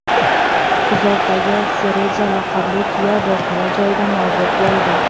Kuzovdagi Sereja laqabli tuya voqea joyida nobud bo‘ldi.